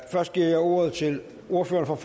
først giver jeg ordet til ordføreren